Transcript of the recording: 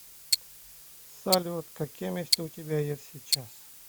салют какие мечты у тебя есть сейчас